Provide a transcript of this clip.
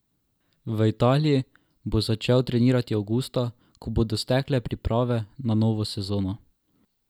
V Italiji bo začel trenirati avgusta, ko bodo stekle priprave na novo sezono.